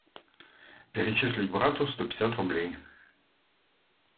перечислить брату сто пятьдесят рублей